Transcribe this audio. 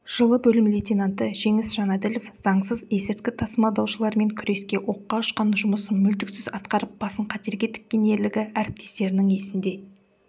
жылы бөлім лейтенанты жеңіс жанәділов заңсыз есірткі тасымалдаушылармен күресте оққа ұшқан жұмысын мүлтіксіз атқарып басын қатерге тіккен ерлігі әріптестерінің есінде